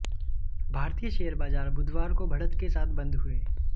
भारतीय शेयर बाजार बुधवार को बढ़त के साथ बंद हुए